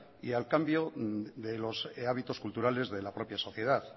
y al cambio de los hábitos culturales de la propia sociedad